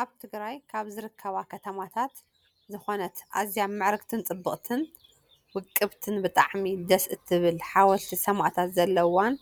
ኣብ ትግራይ ካብ ዝርከባ ከተማታት ዝኮነት ኣዝያ ምዕርግትን ፅብቅትን ውቅብትን ብጣዕሚ ደስ ትብል ሓወልቲ ሰማእታት ዘለዋን